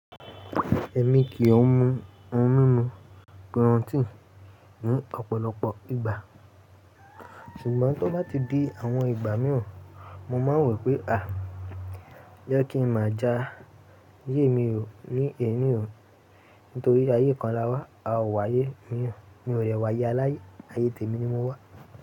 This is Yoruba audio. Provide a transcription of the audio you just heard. Ẹ̀mi kì o mu ohun mímu pírọ́tíìnì ní ọ̀pọ̀lọpọ̀ ìgbà, ṣùgbọ́n tó bá ti dé àwọn ìgbà mìíràn mo máa ń wo pé à, jẹ́ kí n máa já yé mi hò ní èní ìhò, nítorí pé ayé kan la wá, a o wá ayé mìíràn, mi ò dewà aye aláyé, ayé tèmi ni mo wá.